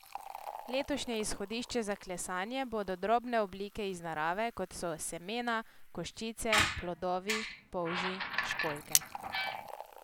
Letošnje izhodišče za klesanje bodo drobne oblike iz narave, kot so semena, koščice, plodovi, polži, školjke.